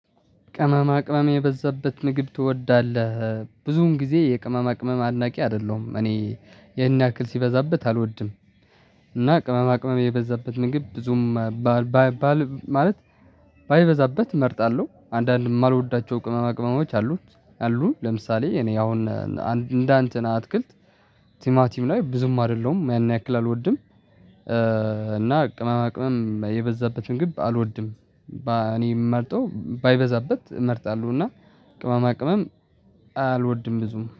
ቅመማቅመም የበዛበት ንግድ ትወዳለህ ብዙን ጊዜ የቅመማቅመም አድናቂ አይደለሁም እኔ ያን ያክል ሲበዛበት አልወድም። እና ቅመማቅመም የበዛበት ምግብ ብዙም ማለት ባይበዛበት እመርጣለሁ። አንዳንድ የማልወዳቸው ቅመማ ቅመሞች አሉት አሉ ለምሳሌ እኔ አሁን እንደንትና አትክልት ቲማቲም ላይ ብዙም አይደለሁም ያን ያክል አልወድም። እና ቅመማቅመም የበዛበትን ምግብ አልወድም እኔ የምመርጠው ባይበዛበት እመርጣለሁ። እና ቅመማቅመም አልወድም ብዙም